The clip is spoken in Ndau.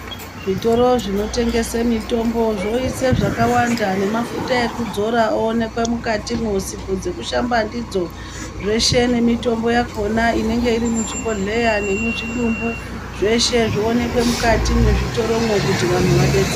Zvitoro zvinotengese mitombo zvoise zvakawanda nemafuta ekudzora oonekwa mukatimwosipo dzekushamba ndidzo zveshe emitombo yakona inenge iri muzvibhedhleya nemuzvidumbu zveshe zvooneka mukati mwezvitoromwo kuti anthu adetsereke .